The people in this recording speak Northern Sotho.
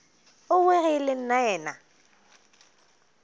owe ge e le nnaena